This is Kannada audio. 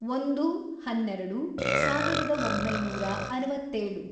ಒಂದು, ಹನ್ನೆರೆಡು, ಸಾವಿರದ ಒಂಬೈನೂರ ಅರವತ್ತೇಳು